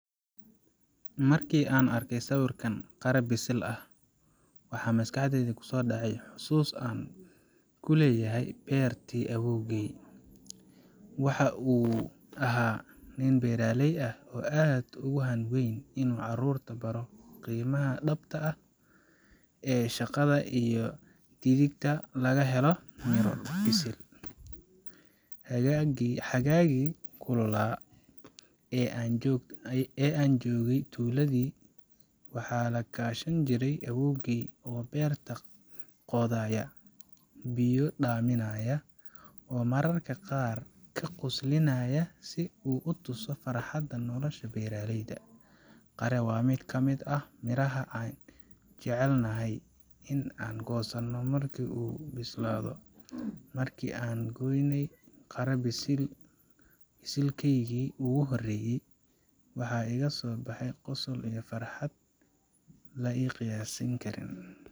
Markii aan arkay sawirkan qare bisil ah, waxaa maskaxdayda kusoo dhacday xusuus aan ku leeyahay beertii awoowgay. Waxa uu ahaa nin beeraley ah oo aad ugu hanweynaa inuu carruurta baro qiimaha dhabta ah ee shaqada iyo dhididka laga helo miro bisil. Xagaagii kululaa ee aan joogay tuuladii, waxaan la kaashan jiray awoowgay oo beerta qodaya, biyo dhaaminaya, oo mararka qaar ka qoslinaya si uu tuso farxadda nolosha beeraleyda. Qare waa mid ka mid ah miraha aan jecelnayn in aan goosanno markii uu bislaado. Markii aan gooynay qare bisilkaygii ugu horreeyay, waxaa iga soo baxay qosol iyo farxad aan la qiyaasi karin.